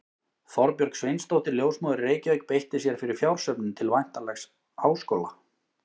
Þorbjörg Sveinsdóttir, ljósmóðir í Reykjavík, beitti sér fyrir fjársöfnun til væntanlegs háskóla.